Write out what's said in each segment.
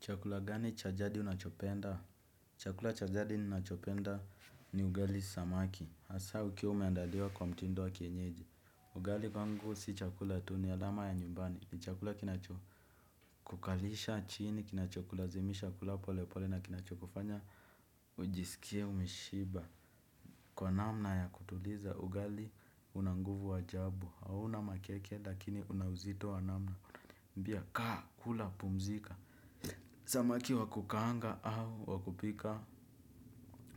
Chakula gani cha jadi unachopenda? Chakula cha jadi ninachopenda ni ugali samaki. Hasa ukiwa umeandaliwa kwa mtindo wa kienyeji. Ugali kwangu si chakula tu ni alama ya nyumbani. Ni chakula kinacho kukalisha chini. Kinacho kulazimisha kula pole pole na kinacho kufanya. Ujiskie umeshiba kwa namna ya kutuliza ugali una nguvu wa ajabu. Hauna makeke lakini una uzito wa namna. Mbia kaa kula pumzika. Samaki wa kukaanga au wa kupika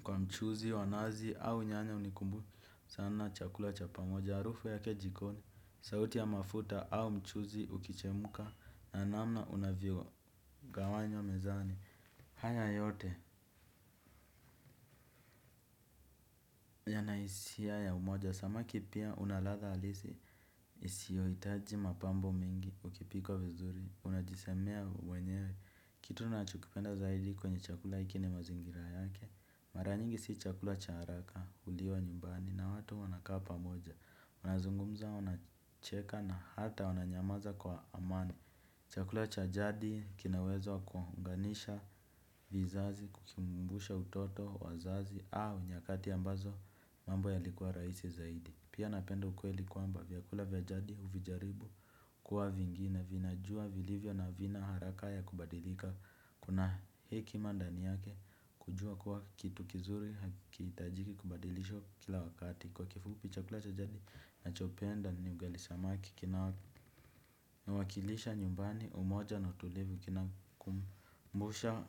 kwa mchuzi wa nazi au nyanya hunikumbusha sana chakula cha pamoja harufu yake jikoni. Sauti ya mafuta au mchuzi ukichemuka na namna unavyo gawanywa mezani. Haya yote yanahisia ya umoja. Samaki pia unal adha halisi isio hitaji mapambo mingi ukipikwa vizuri. Unajisamea wenyewe kitu nachukipenda zaidi kwenye chakula iki ni mazingira yake. Mara nyingi si chakula cha haraka uliwa nyumbani na watu wanakapa moja. Unazungumza wanacheka na hata wananyamaza kwa amani. Chakula cha jadi kinaweza kuwaunganisha vizazi kukimumbusha utoto wazazi au nyakati ambazo mambo ya likuwa raisi zaidi. Pia napendo ukweli kuamba vyakula vyajadi uvijaribu kuwa vingine vinajua vilivyo na vina haraka ya kubadilika. Kuna heki mandani yake kujua kwa kitu kizuri hakitajiki kubadilisho kila wakati. Kwa kifupi chakula chajadi na chopenda ni ugali samaki. Kina wakilisha nyumbani umoja na utulivu kina kumbusha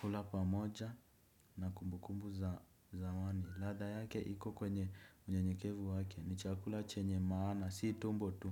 kula pamoja na kumbukumbu za wani lada yake hiko kwenye mnyenyekevu wake ni chakula chenye maana si tumbo tu.